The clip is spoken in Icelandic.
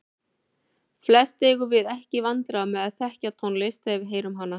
Flest eigum við ekki í vandræðum með að þekkja tónlist þegar við heyrum hana.